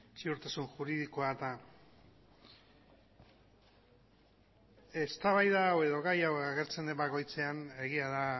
ziurtasun juridikoa eta eztabaida hau edo gai hau agertzen den bakoitzean egia da